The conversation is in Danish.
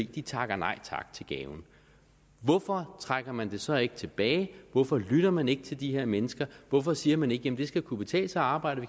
takker nej tak til gaven hvorfor trækker man det så ikke tilbage hvorfor lytter man ikke til de her mennesker hvorfor siger man ikke jamen det skal kunne betale sig at arbejde